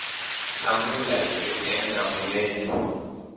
hlamula hi ku endla kunene